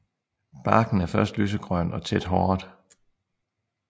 Barken er først lysegrøn og tæt håret